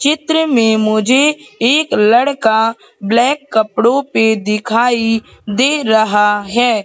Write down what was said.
चित्र में मुझे एक लड़का ब्लैक कपड़ों पे दिखाई दे रहा है।